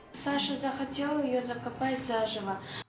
саша захотела ее закопать заживо